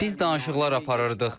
Biz danışıqlar aparırdıq.